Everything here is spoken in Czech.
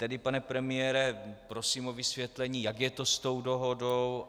Tedy pane premiére, prosím o vysvětlení, jak je to s tou dohodou.